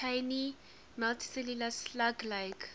tiny multicellular slug like